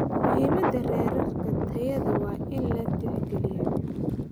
Muhiimadda heerarka tayada waa in la tixgeliyaa.